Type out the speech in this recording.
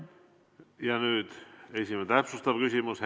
Ja nüüd esimene täpsustav küsimus.